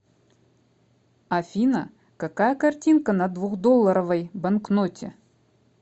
афина какая картинка на двухдолларовой банкноте